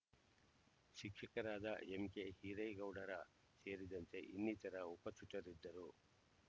ಶಿಕ್ಷಕರಾದ ಎಂಕೆ ಹಿರೇಗೌಡರ ಸೇರಿದಂತೆ ಇನ್ನಿತರ ಉಪಸ್ಥಿತರಿದ್ದರು